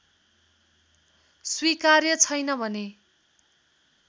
स्वीकार्य छैन भने